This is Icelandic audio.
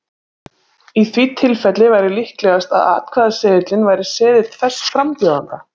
Í því tilfelli væri líklegast að atkvæðaseðilinn væri seðill þess frambjóðanda.